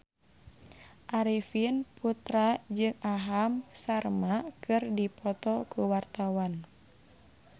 Arifin Putra jeung Aham Sharma keur dipoto ku wartawan